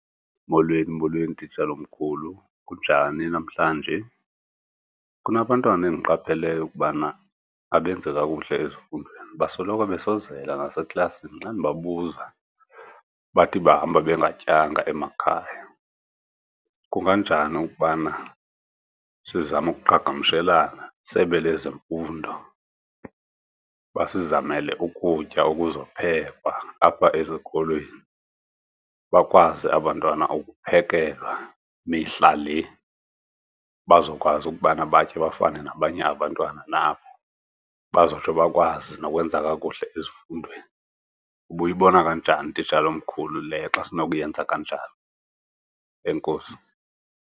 Molweni, molweni, titshala omkhulu. Ninjani namhlanje? Kunabantwana endiqapheleyo ukubana abenzi kakuhle ezifundweni, basoloko besozela naseklasini. Xa ndibabuza bathi bahamba bengatyanga emakhaya. Kunganjani ukubana sizame ukuqhagamshelana iSebe lezeMfundo, basizamele ukutya okuzophekwa apha esikolweni, bakwazi abantwana ukuphekelwa mihla le, bazokwazi ukubana batye bafane nabanye abantwana nabo, bazotsho bakwazi nokwenza kakuhle ezifundweni? Ubuyibona kanjani titshala omkhulu le xa sinokuyenza kanjalo? Enkosi.